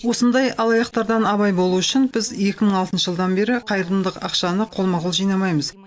осындай алаяқтардан абай болу үшін біз екі мың алтыншы жылдан бері қайырымдылық ақшаны қолма қол жинамаймыз